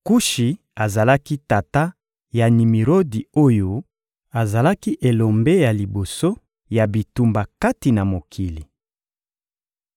Kushi azalaki tata ya Nimirodi oyo azalaki elombe ya liboso ya bitumba kati na mokili.